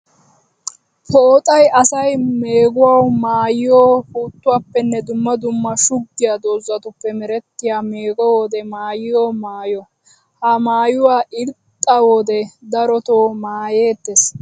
Pooxxay asay meeguwawu maayiyo puutuwappenne dumma dumma shuggiya doozatuppe merettiya meeggo wode maayiyo maayo. Ha maayuwa irxxa wode darotto maayettes.